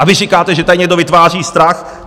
A vy říkáte, že tady někdo vytváří strach.